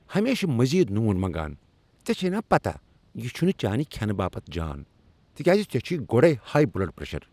ہمیشہٕ مزید نوٗن منگان ! ژے٘ چھیہ پتاہ یہِ چھُنہٕ چانہِ كھینہٕ باپت جان تکیاز ژےٚ چُھیہ گوڈیہ ہایہ بلڈ پریشر۔